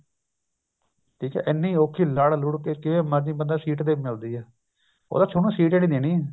ਠੀਕ ਏ ਇੰਨੀ ਔਖੀ ਲੜ ਲੁੜ ਕੇ ਕਿਵੇਂ ਮਰਜ਼ੀ ਬੰਦਾ ਸੀਟ ਮਿਲਦੀ ਉਹ ਤਾਂ ਥੋਨੂੰ ਸੀਟ ਹੀ ਨੀ ਦੇਣੀ